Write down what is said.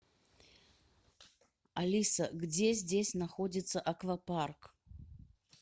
алиса где здесь находится аквапарк